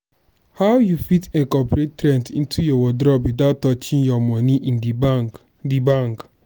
how you fit incorporate trends into your wardrobe without touching your money in di bank? di bank?